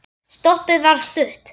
Stoppið var stutt.